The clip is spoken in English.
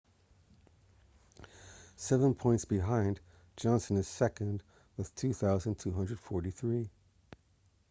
seven points behind johnson is second with 2,243